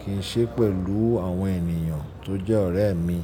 kí ń ṣe pẹ̀lú àwọn ènìyàn tó jẹ́ ọ̀rẹ́ mi.